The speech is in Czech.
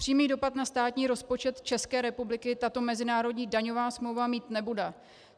Přímý dopad na státní rozpočet České republiky tato mezinárodní daňová smlouva mít nebude.